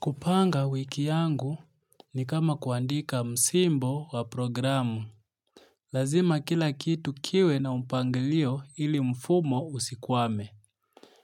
Kupanga wiki yangu ni kama kuandika msimbo wa programu. Lazima kila kitu kiwe na mpangilio ili mfumo usikwame.